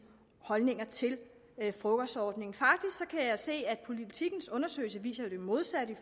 holdninger til frokostordningen faktisk kan jeg se at politikens undersøgelse jo viser det modsatte